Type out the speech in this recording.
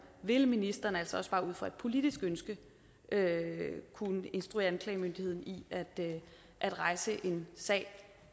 vil ministeren altså også bare ud fra et politisk ønske kunne instruere anklagemyndigheden i at rejse en sag